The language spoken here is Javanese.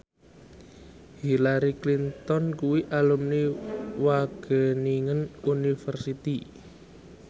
Hillary Clinton kuwi alumni Wageningen University